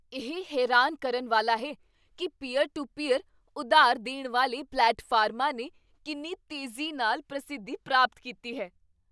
ਇਹ ਹੈਰਾਨ ਕਰਨ ਵਾਲਾ ਹੈ ਕੀ ਪੀਅਰ ਟੂ ਪੀਅਰ ਉਧਾਰ ਦੇਣ ਵਾਲੇ ਪਲੇਟਫਾਰਮਾਂ ਨੇ ਕਿੰਨੀ ਤੇਜ਼ੀ ਨਾਲ ਪ੍ਰਸਿੱਧੀ ਪ੍ਰਾਪਤ ਕੀਤੀ ਹੈ